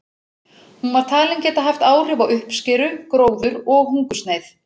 Hún var talin geta haft áhrif á uppskeru, gróður og hungursneyð.